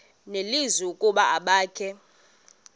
nelizwi ukuba abakhe